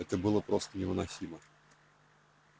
это было просто невыносимо